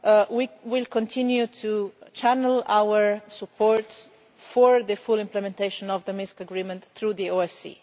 We will also continue to channel our support for the full implementation of the Minsk Agreement through the OSCE.